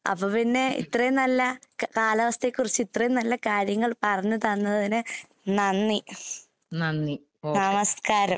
അപ്പപ്പിന്നെ ഇത്രേം നല്ല ക കാലാവസ്ഥയെക്കുറിച്ചിത്രേം നല്ല കാര്യങ്ങൾ പറഞ്ഞ് തന്നതിന് നന്ദി, നമസ്കാരം.